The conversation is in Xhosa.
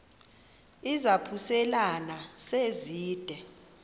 izaphuselana se zide